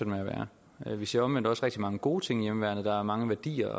med at være vi ser omvendt også rigtig mange gode ting ved hjemmeværnet der er mange værdier